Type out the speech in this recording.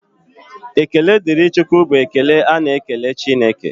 Ekele dịrị Chukwu bụ ekele a na-ekele Chineke.